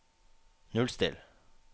nullstill